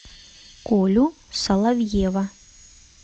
колю соловьева